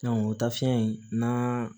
o tafiɲɛ in n'a